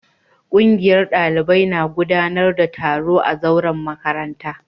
Kungiyar dalibai na gudanar da taro a zauren makarantar